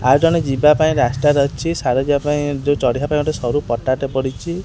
ଆଉ ଜଣେ ଯିବା ପାଇଁ ରାସ୍ତା ରେ ଅଛି ସିଆଡ଼େ ଯିବା ପାଇଁ ଯୋଉଁ ଚଢିବା ପାଇଁ ସରୁ ପଟାଟେ ପଡ଼ିଛି।